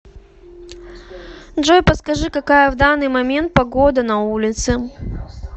джой подскажи какая в данный момент погода на улице